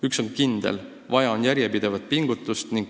Üks on kindel: vaja on järjepidevat pingutust.